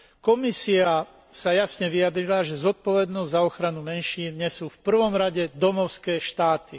Komisia sa jasne vyjadrila, že zodpovednosť za ochranu menšín nesú v prvom rade domovské štáty.